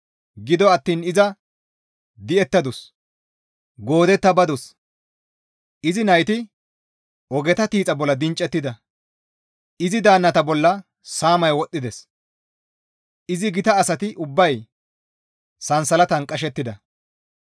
Gido attiin iza di7ettadus; goodetta badus; izi nayti ogeta tiixa bolla dinccettida; izi daannata bolla saamay wodhdhides; izi gita asati ubbay sansalatan qashettida.